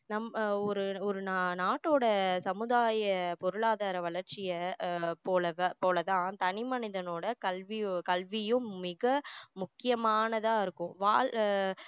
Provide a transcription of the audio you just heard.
நம்ம ஒரு ஒரு நாட்டோட சமுதாய பொருளாதார வளர்ச்சிய ஆஹ் போல தான் போல தான் தனி மனிதனோட கல்வியும் கல்வியும் மிக முக்கியமானதா இருக்கும் வாழ்~